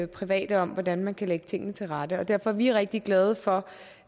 private om hvordan man kan lægge tingene til rette derfor er vi rigtig glade for